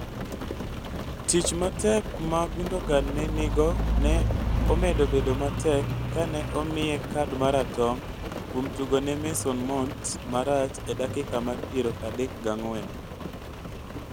Tich matek ma Gundogan ne nigo ne omedo bedo matek kane ne omiye kad maratong' kuom tugone Mason Mount marach e dakika mar piero adek gang'wen.